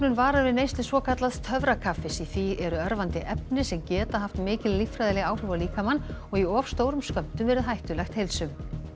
varar við neyslu svokallaðs töfrakaffis í því eru örvandi efni sem geta haft mikil lífræðileg áhrif á líkamann og í of stórum skömmtum verið hættulegt heilsu